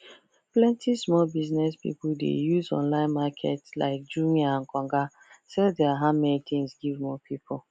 plenty small biz people dey use online market like jumia and konga sell their handmade tins give more people